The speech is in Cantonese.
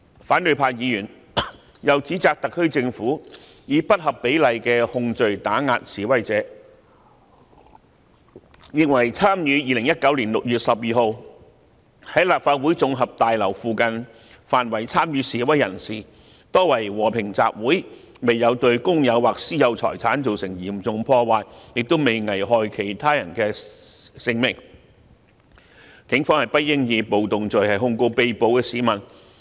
反對派議員又指責特區政府，以不合比例的控罪打壓示威者，認為參與2019年6月12日在立法會綜合大樓附近範圍的示威人士，多為和平集會，未有對公有或私有財產造成嚴重破壞，亦都未危害其他人的性命，警方不應以暴動罪控告被捕市民。